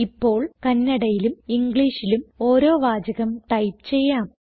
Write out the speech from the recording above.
ഇപ്പോൾ കന്നഡയിലും ഇംഗ്ലീഷിലും ഓരോ വാചകം ടൈപ്പ് ചെയ്യാം